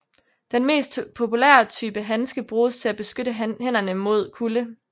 Den mest populære type handske bruges til at beskytte hænderne mod kulde